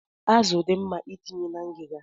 Azụ dị mma itinye na ngiga.